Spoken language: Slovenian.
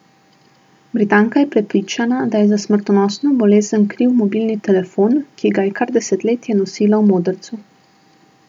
Britanka je prepričana, da je za smrtonosno bolezen kriv mobilni telefon, ki ga je kar desetletje nosila v modrcu.